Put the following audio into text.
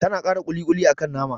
Tana kara ƙuli-ƙuli akan nama